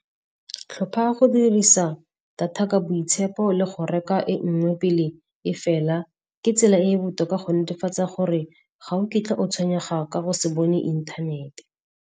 Tlhopha go dirisa data ka boitshepo le go reka e nngwe pele e fela. Ke tsela e e botoka go netefatsa gore ga o kitla o tshwenyega ka go se bone inthanete.